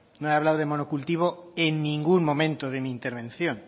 no he hablado de monocultivo en ningún momento de mi intervención